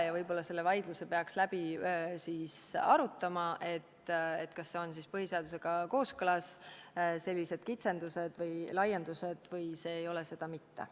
Võib-olla peaks selle vaidluse läbi tegema, kas sellised kitsendused või laiendused on põhiseadusega kooskõlas või ei ole seda mitte.